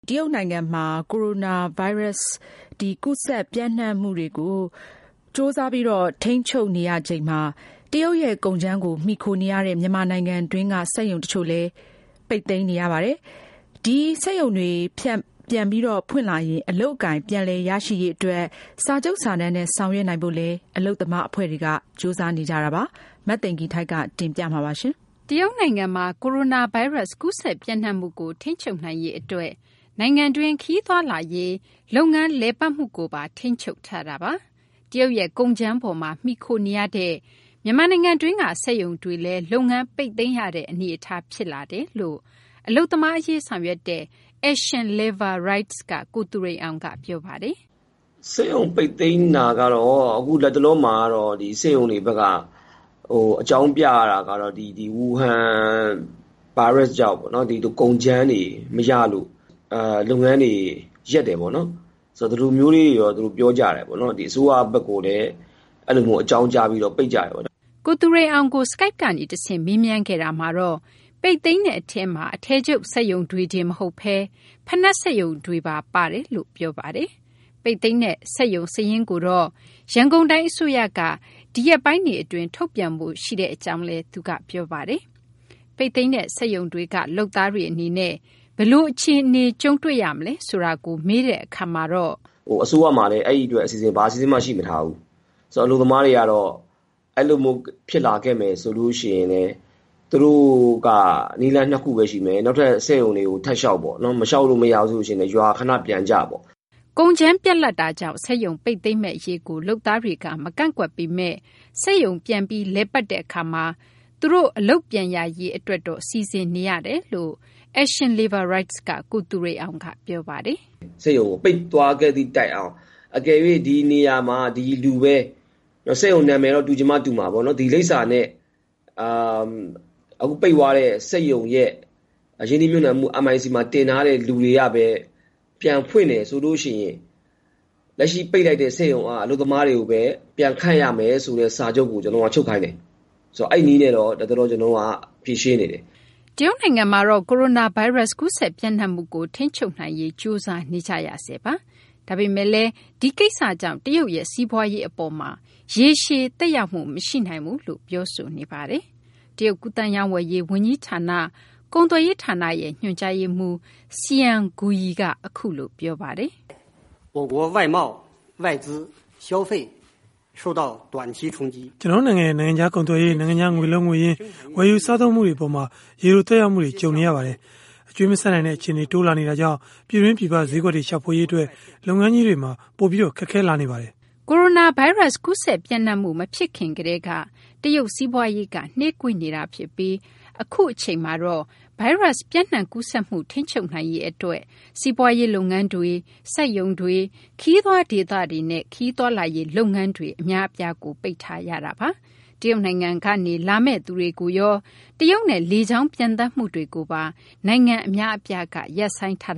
တရုတ်နိုင်ငံမှာ ကိုရိုနာဗိုင်းရပ်စ် ကူးစက်ပျံ့နှံ့မှုကို ကြိုးစား ထိန်းချုပ်နေရချိန် တရုတ်ရဲ့ကုန်ကြမ်းကို မှီခိုရတဲ့ မြန်မာနိုင်ငံတွင်းက စက်ရုံတချို့လည်း လုပ်ငန်းတွေ ပိတ်သိမ်းနေရပါတယ်။ ဒီစက်ရုံတွေ ပြန်ဖွင့်လာရင် အလုပ်အကိုင် ပြန်လည်ရရှိရေးအတွက် စာချုပ်စာတမ်းနဲ့ ဆောင်ရွက်နိုင်ဖို့လည်း အလုပ်သမားအဖွဲ့တွေ ကြိုးစားနေကြပါတယ်။ အပြည့်အစုံကို မသိင်္ဂီထိုက် တင်ပြပေးထားပါတယ်။ တရုတ်နိုင်ငံမှာ ကိုရိုနာဗိုင်းရပ်စ် ကူးစက်ပျံ့နှံ့မှုကို ထိန်းချုပ်နိုင်ရေးအတွက် နိုင်ငံတွင်း ခရီးသွားလာရေး၊ လုပ်ငန်းတွေ လည်ပတ်မှုကိုပါ ထိန်းချုပ်ထားတာပါ။ တရုတ်ရဲ့ ကုန်ကြမ်းအပေါ်မှာ မှီခိုနေရတဲ့ မြန်မာနိုင်ငံတွင်းက စက်ရုံတွေလည်း လုပ်ငန်းပိတ်သိမ်းရတဲ့ အနေအထား ဖြစ်လာကြောင်း အလုပ်သမားအရေး ဆောင်ရွက်တဲ့ Action Labor Rights က ကိုသူရိန်အောင်က ပြောပါတယ်။ “စက်ရုံပိတ်သိမ်းတာကတော့ အခုလတ်တလောမှာ ဒီစက်ရုံတွေဘက်က အကြောင်းပြတာကတော့ ဝူဟန်ဗိုင်းရပ်စ်ကြောင့်ပေါ့၊ ကုန်ကြမ်းတွေ မရလို့ လုပ်ငန်းတွေ ရပ်တယ်ပေါ့။ ဒီလိုမျိုးပြောကြတယ်။ အစိုးရဘက်ကိုလည်း အဲဒီလိုအကြောင်းကြားပြီး ပိတ်ကြတယ်။” ကိုသူရိန်အောင်ကို Skype ကနေတဆင့် မေးမြန်းခဲ့တာမှာတော့ ပိတ်သိမ်းတဲ့အထဲမှာ အထည်ချုပ်စက်ရုံတွေတင် မဟုတ်ဘဲ ဖိနပ်စက်ရုံတွေပါ ပါဝင်နေကြောင်း၊ ပိတ်သိမ်းတဲ့ စက်ရုံစာရင်းကိုလည်း ရန်ကုန်တိုင်းအစိုးရက ဒီရက်ပိုင်းတွေအတွင်း ထုတ်ပြန်ဖို့ရှိနေကြောင်း ပြောပါတယ်။ ပိတ်သိမ်းတဲ့ စက်ရုံတွေက လုပ်သားတွေအနေနဲ့ ဘယ်လိုအခြေအနေ ကြုံတွေ့ရမလဲ ဆိုတာကို မေးတဲ့အခါမှာတော့ သူက အခုလိုပြောပါတယ်။ “အစိုးရမှာလည်း အဲဒီအတွက် ဘာအစီအစဉ်မှ ရှိမထားဘူး။ အလုပ်သမားတွေကတော့ အဲလိုမျိုး ဖြစ်လာခဲ့မယ်ဆိုရင်လည်း သူတို့က နည်းလမ်းနှစ်ခုပဲရှိမယ်။ နောက်ထပ် စက်ရုံတွေကို ထပ်လျှောက်ပေါ့။ လျှောက်လို့မရဘူးဆိုလည်း ရွာခနပြန်ကြပေါ့။” ကုန်ကြမ်းပြတ်လပ်မှုကြောင့် စက်ရုံပိတ်သိမ်းမယ့်အရေးကို လုပ်သားတွေက မကန့်ကွက်ပေမယ့် စက်ရုံ ပြန်လည် လည်ပတ်တဲ့အခါမှာ သူတို့ အလုပ်ပြန်ရရေး စီစဉ်နေကြကြောင်း Action Labor Rights က ကိုသူရိန်အောင်က ပြောပါတယ်။ “စက်ရုံ ပိတ်သွားခဲ့သည့်တိုင်အောင် အကယ်၍ ဒီနေရာမှာ ဒီလူပဲ။ စက်ရုံနာမည်တော့ တူချင်မှ တူမှာပေါ့နော်။ ဒီလိပ်စာနဲ့ အခုပိတ်သွားတဲ့ စက်ရုံရဲ့ ရင်းနှီးမြှုပ်နှံမှု MIC မှာတင်ထားတဲ့ လူတွေကပဲ ပြန်ဖွင့်တယ်ဆိုရင် လက်ရှိပိတ်လိုက်တဲ့ စက်ရုံက အလုပ်သမားတွေကိုပဲ ပြန်ခန့်ရမယ်ဆိုတဲ့ စာချုပ်ကို ကျနော်တို့က ချုပ်ခိုင်းတယ်။ အဲဒီနည်းနဲ့တော့ ကျနော်တို့ ဖြေရှင်းနေတယ်။” တရုတ်နိုင်ငံမှာတော့ ကိုရိုနာဗိုင်းရပ်စ် ကူးစက်ပျံ့နှံ့မှုကို ထိန်းချုပ်နိုင်ရေး ကြိုးစားနေရဆဲ ဖြစ်ပါတယ်။ ဒါပေမယ့်လည်း ဒီကိစ္စကြောင့် တရုတ်ရဲ့ စီးပွားရေးအပေါ်မှာ ရေရှည်သက်ရောက်မှု မရှိနိုင်ဘူးလို့ တရုတ်ဘက်က ပြောဆိုထားတာပါ။ တရုတ် ကူးသန်းရောင်းဝယ်ရေး ဝန်ကြီးဌာန ကုန်သွယ်ရေးဌာန ညွှန်ကြားရေးမှူး Xian Guoyi က အခုလို ပြောပါတယ်။ “ကျနော်တို့နိုင်ငံရဲ့ နိုင်ငံခြားကုန်သွယ်ရေး၊ နိုင်ငံခြား ငွေလုံးငွေရင်း၊ ဝယ်ယူစားသုံးမှု အပေါ်မှာ ရေတိုသက်ရောက်မှုနဲ့ ကြုံတွေ့နေရပါတယ်။ အကြွေးမဆပ်နိုင်တဲ့ အခြေအနေက တိုးလာနေတာကြောင့် ပြည်တွင်းပြည်ပ ဈေးကွက်တွေရှာရေး လုပ်ငန်းကြီးတွေအတွက် ပိုပြီး ခက်ခဲလာပါတယ်။” ကိုရိုနာဗိုင်းရပ်စ် ကူးစက်ပျံ့နှံ့မှု မဖြစ်ခင်ကတည်းက တရုတ်စီးပွားရေးက နှေးကွေးနေတာဖြစ်ပြီး အခုအချိန်မှာတော့ ဗိုင်းရပ်စ်ပျံ့နှံ့ကူးစက်မှုကို ထိန်းချုပ်နိုင်ရေးအတွက် စီးပွားရေးလုပ်ငန်းတွေ၊ စက်ရုံတွေ၊ ခရီးသွားဒေသတွေနဲ့ ခရီးသွားလာရေးလုပ်ငန်းတွေ အများအပြားကို ပိတ်ထားရပါတယ်။ တရုတ်နိုင်ငံကနေ လာမယ့်သူတွေကိုရော တရုတ်နဲ့ လေကြောင်းပျံသန်းမှုတွေကိုပါ နိုင်ငံအများအပြားက ရပ်ဆိုင်းထား